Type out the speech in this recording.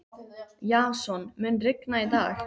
Jason, mun rigna í dag?